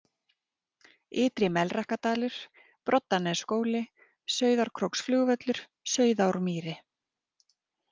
Ytri-Melrakkadalur, Broddanesskóli, Sauðárkróksflugvöllur, Sauðármýri